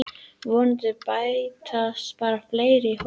Vonandi bætast bara fleiri í hópinn